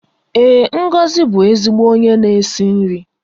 Ee, Ngozi bụ ezigbo onye na-esi nri